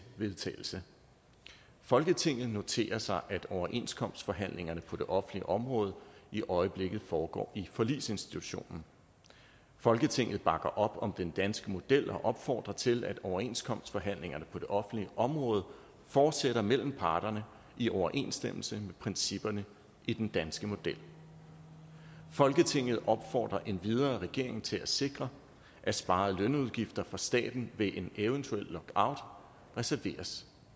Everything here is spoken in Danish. vedtagelse folketinget noterer sig at overenskomstforhandlingerne på det offentlige område i øjeblikket foregår i forligsinstitutionen folketinget bakker op om den danske model og opfordrer til at overenskomstforhandlingerne på det offentlige område fortsætter mellem parterne i overensstemmelse principperne i den danske model folketinget opfordrer endvidere regeringen til at sikre at sparede lønudgifter for staten ved en eventuel lockout reserveres